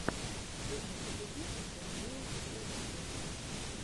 первый эпизод даниила перваченко